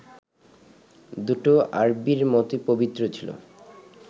দুটো আরবীর মতোই পবিত্র ছিল